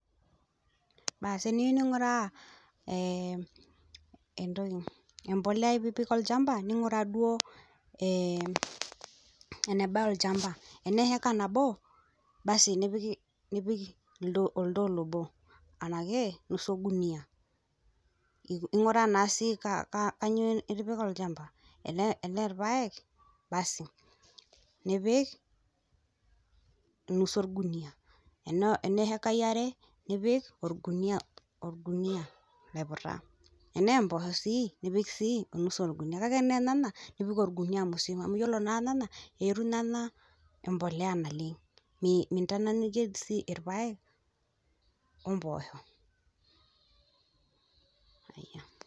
Teniyeu ning'uraa empolea piipik olchamba, ning'uraa duo enebaya olchamba tenaa eeka nabo oltoo obo anake nusu enguniya, ing'uraa naa sii kanyioo itipika olchamba tenaa ilpaek basi nipik enusu olguniya, enaa ekai are nipik olguniya oiputa. Tenaa empoosho siii nipik sii enusu olguniya kake enaa lyenya nipik olguniya musima amu iyiolo naa inana eyetu inana empolea naleng', mintanyanyuke sii ilpayek ompoosho.